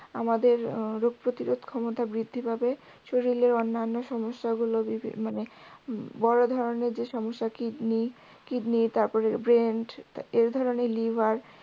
আমাদের রোগ প্রতিরোধ ক্ষমতা বৃদ্ধি পাবে শরিলে অন্যান্য সমস্যাগুলো মানে বড় ধরনের যে সমস্যা kidney তারপরে brain এধরনের liver